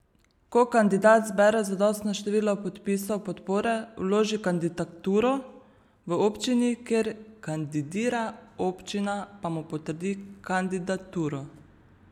Ko kandidat zbere zadostno število podpisov podpore, vloži kandidaturo v občini, kjer kandidira, občina pa mu potrdi kandidaturo.